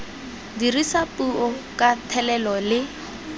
dirisa puo ka thelelo le